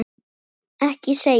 Ekki segja mér,